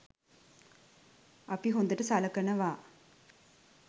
අපි හොඳට සලකනවා